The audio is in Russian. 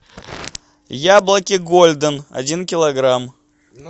яблоки голден один килограмм